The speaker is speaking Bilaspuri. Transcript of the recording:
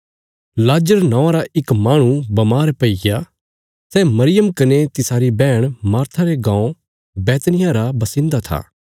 लाजर नौआं रा इक माहणु बमार पैईग्या सै मरियम कने तिसारी बैहण मार्था रे गाँव बैतनिय्याह रा बसिन्दा था